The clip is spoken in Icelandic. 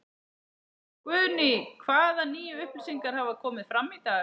Guðný: Hvaða nýju upplýsingar hafa komið fram í dag?